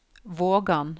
Vågan